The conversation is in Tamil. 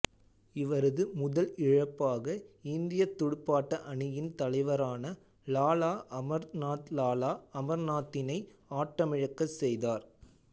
இவரது முதல் இழப்பாக இந்தியத் துடுப்பாட்ட அணியின் தலைவரான லாலா அமர்நாத்லாலா அமர்நாத்தினை ஆட்டமிழக்கச் செய்தார்